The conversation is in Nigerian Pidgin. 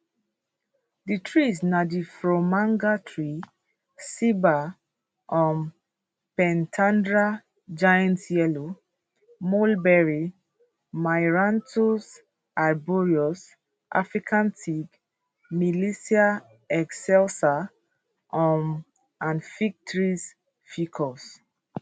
di trees na di fromager tree ceiba um pentandra giant yellow mulberry myrianthus arboreus african teak milicia excelsa um and fig trees ficus